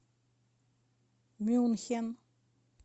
мюнхен